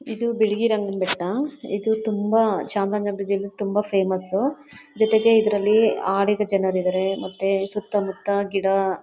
ಇದು ಬೆಡಗಿರಿ ಅಂಗಣ ಬೆಟ್ಟ ಇದು ತುಂಬ ಚಾಮರಾಜನಗರದಲ್ಲಿ ತುಂಬ ಫೇಮಸ್ ಜೊತೆಗೆ ಇದ್ರಲ್ಲಿ ಅಡಿಗರು ಜನರು ಇದಾರೆ ಮತ್ತೆ ಸುತ್ತಮುತ್ತ ಗಿಡ.